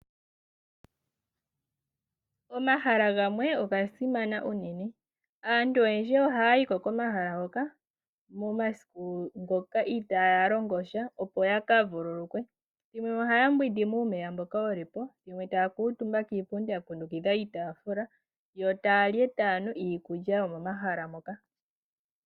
Omahala gamwe oga simana unene. Aantu oyendji ohayayi ko komahala hoka momasiku ngoka itaaya longo sha opo yakavululukwe yo ohaya mbwindi muumeya mboka wuli po yo taya kuutumba kiipundi yakundukidha iitaafula yo taya li e taya nu iikunwa yomomahala moka.